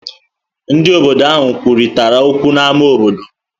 Ndị isi obodo ahụ kwurịtara okwu n'ámá obodo.